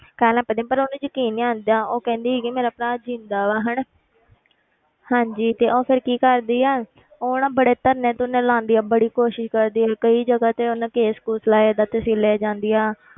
ਕਹਿਣ ਲੱਗ ਪੈਂਦੇ ਆ ਪਰ ਉਹਨੂੰ ਯਕੀਨ ਨੀ ਆਉਂਦਾ ਉਹ ਕਹਿੰਦੀ ਹੈਗੀ ਆ ਮੇਰਾ ਭਰਾ ਜ਼ਿੰਦਾ ਵਾ ਹਨਾ ਹਾਂਜੀ ਤੇ ਉਹ ਫਿਰ ਕੀ ਕਰਦੀ ਆ ਉਹ ਨਾ ਬੜੇ ਧਰਨੇ ਧੁਰਨੇ ਲਗਾਉਂਦੀ ਆ ਬੜੀ ਕੋਸ਼ਿਸ਼ ਕਰਦੀ ਆ ਵੀ ਕਈ ਜਗ੍ਹਾ ਤੇ ਉਹਨੇ case ਕੂਸ ਲਾਏ ਏਦਾਂ ਤਸੀਲੇ ਜਾਂਦੀ ਆ,